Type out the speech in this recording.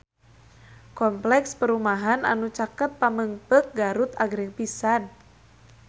Kompleks perumahan anu caket Pamengpeuk Garut agreng pisan